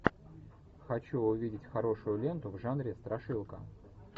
хочу увидеть хорошую ленту в жанре страшилка